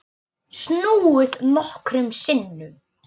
Snúið nokkrum sinnum.